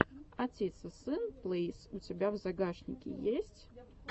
отец и сын плэйс у тебя в загашнике есть